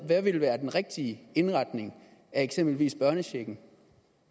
hvad vil være den rigtige indretning af eksempelvis børnechecken